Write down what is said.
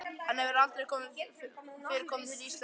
Hann hefur aldrei fyrr komið til Íslands.